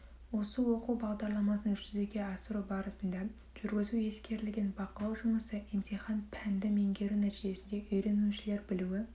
осы оқу бағдарламасын жүзеге асыру барысында жүргізу ескерілген бақылау жұмысы емтихан пәнді меңгеру нәтижесінде үйренушілер білуі